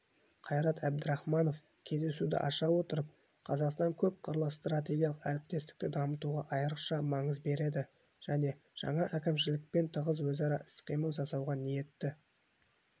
қайрат әбдірахманов кездесуді аша отырып қазақстан көпқырлы стратегиялық әріптестікті дамытуға айрықша маңыз береді және жаңа әкімшілікпен тығыз өзара іс-қимыл жасауға ниетті